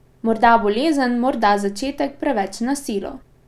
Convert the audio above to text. Morda bolezen, morda začetek preveč na silo?